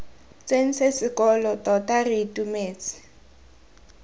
tsentse sekolo tota re itumetse